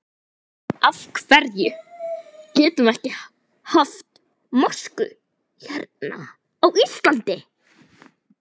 Af hverjum getum við ekki haft mosku hérna á Íslandi?